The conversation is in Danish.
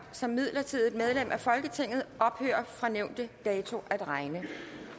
som midlertidigt medlem af folketinget ophører fra nævnte dato at regne